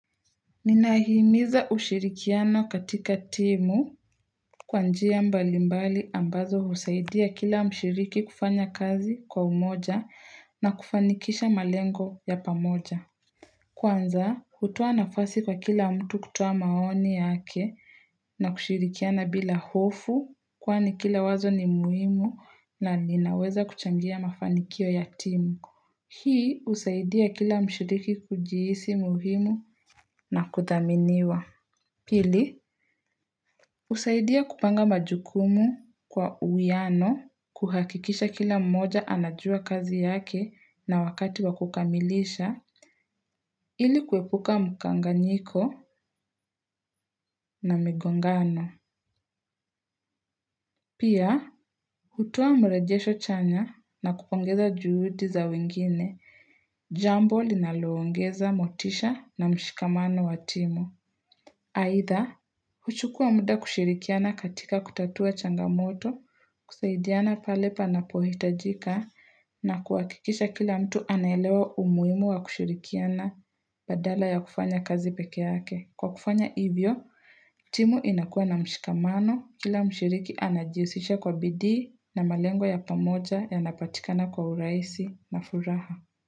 Ninahimiza ushirikiano katika timu kwa njia mbalimbali ambazo usaidia kila mshiriki kufanya kazi kwa umoja na kufanikisha malengo ya pamoja. Kwanza, kutuwa nafasi kwa kila mtu kutuwa maoni yake na kushirikiana bila hofu kwani kila wazo ni muhimu na linaweza kuchangia mafanikio ya timu. Hii usaidia kila mshiriki kujihisi muhimu na kuthaminiwa. Pili, usaidia kupanga majukumu kwa uwiano kuhakikisha kila mmoja anajua kazi yake na wakati wakukamilisha ili kuepuka mukanganyiko na migongano. Pia, hutua mrejesho chanya na kupongeza juhudi za wengine, jambo linaloongeza motisha na mshikamano watimo. Haitha, kuchukua muda kushirikiana katika kutatua changamoto, kusaidiana pale panapohitajika na kuwakikisha kila mtu anaelewa umuimu wa kushirikiana badala ya kufanya kazi peke yake. Kwa kufanya hivo, timu inakua na mshikamano, kila mshiriki anajiusishe kwa bidi na malengo ya pamoja ya napatikana kwa uraisi na furaha.